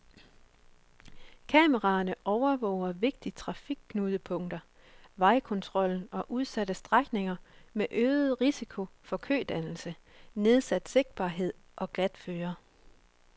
Kameraerne overvåger vigtige trafikknudepunkter, vejtolden og udsatte strækninger med øget risiko for kødannelser, nedsat sigtbarhed og glatføre.